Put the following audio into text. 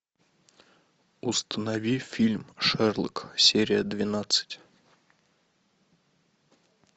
установи фильм шерлок серия двенадцать